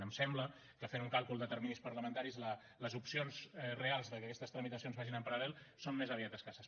em sembla que fent un càlcul de terminis parlamentaris les opcions reals de que aquestes tramitacions vagin en paral·lel són més aviat escasses